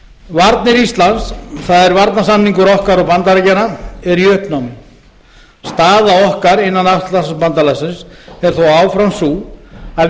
varnir íslands það er varnarsamningur okkar og bandaríkjanna er í uppnámi staða okkar innan atlantshafsbandalagsins er þó áfram sú að